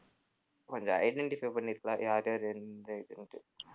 கொஞ்சம் identify பண்ணியிருக்கலாம் யார் யார் எந்தெந்த இதுன்னுட்டு